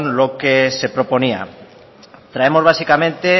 lo que se proponía traemos básicamente